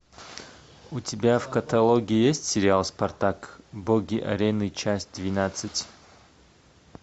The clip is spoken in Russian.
у тебя в каталоге есть сериал спартак боги арены часть двенадцать